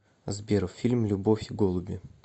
сбер фильм любовь и голуби